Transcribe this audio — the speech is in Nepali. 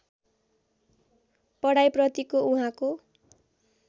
पढाइ प्रतिको उहाँको